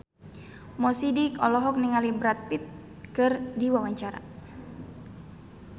Mo Sidik olohok ningali Brad Pitt keur diwawancara